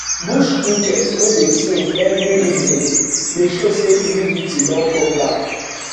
bush cricket wey dey sing every evening dey show say humidity don come back